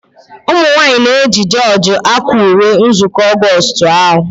Ụmụnwanyị na eji jorji akwa ùwé nzukọ Augoostu ha.